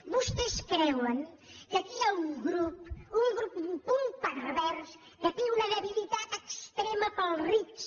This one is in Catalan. vostès creuen que aquí hi ha un grup un grup un punt pervers que té una debilitat extrema pels rics